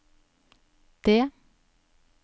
det